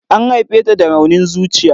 An haife ta da raunin zuciya.